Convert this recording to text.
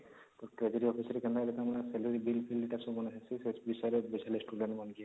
ତ treasury office ରେ salary bill fill